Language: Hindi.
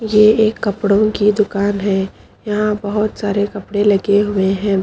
ये एक कपड़ों की दुकान है यहां बहोत सारे कपड़े लगे हुए हैं।